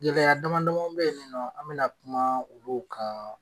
Gɛlɛya dama damaw be yen nin nɔ an bɛna kumaa olu kaa